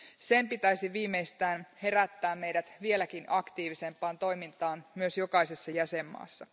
Sen pitäisi viimeistään herättää meidät vieläkin aktiivisempaan toimintaan myös jokaisessa jäsenmaassa.